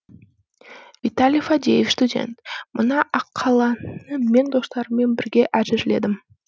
виталий фадеев студент мына аққаланы мен достарыммен бірге әзірледім